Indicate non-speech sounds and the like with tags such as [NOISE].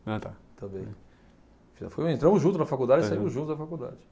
Ah tá. [UNINTELLIGIBLE] Entramos juntos na faculdade e saímos juntos da faculdade.